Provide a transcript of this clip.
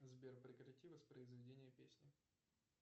сбер прекрати воспроизведение песни